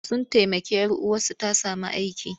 Sun taimaki 'yar uwarsu ta sami aiki.